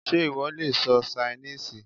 Sé ìwọ le sọ Ṣainíìsì?